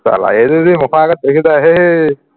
চালা এইটো মুখৰ আগত দেখি যায়